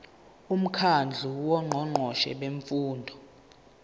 umkhandlu wongqongqoshe bemfundo